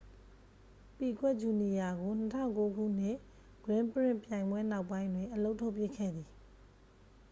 ပီကွက်ဂျူနီယာကို 2009 ခုနှစ် ဂရင်းပရင့်ခ် ပြိုင်ပွဲနောက်ပိုင်းတွင် အလုပ်ထုတ်ပစ်ခဲ့သည်